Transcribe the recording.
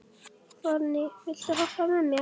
Forni, viltu hoppa með mér?